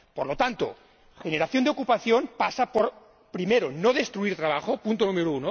Por lo tanto, la generación de ocupación pasa por primero, no destruir trabajo, punto número